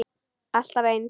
Alltaf eins.